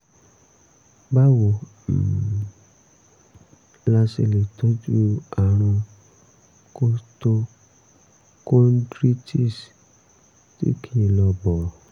báwo um la ṣe lè tọ́jú àrùn costochondritis tí kì í lọ bọ̀rọ̀?